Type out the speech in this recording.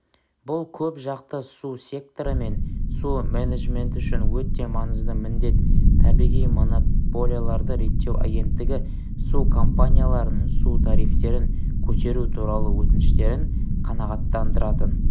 бұл көпжақты су секторы мен су менеджменті үшін өте маңызды міндет табиғи монополияларды реттеу агенттігі су компанияларының су тарифтерін көтеру туралы өтініштерін қанағаттандыратын